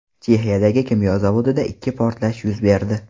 Chexiyadagi kimyo zavodida ikki portlash yuz berdi.